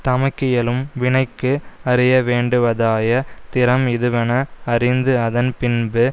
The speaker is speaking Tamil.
தமக்கியலும் வினைக்கு அறிய வேண்டுவதாய திறம் இதுவென அறிந்து அதன் பின்பு